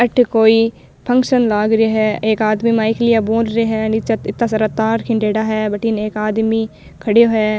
अठे कोई फंक्शन लाग रे है एक आदमी माइक लिया बोल रे है नीचे इत्ता सारा तार है भटीन एक आदमी खड़ेयो है।